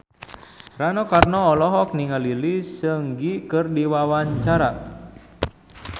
Rano Karno olohok ningali Lee Seung Gi keur diwawancara